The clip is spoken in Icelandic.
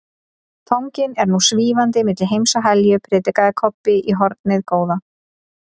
Fanginn er nú SVÍFANDI MILLI HEIMS OG HELJU, predikaði Kobbi í hornið góða.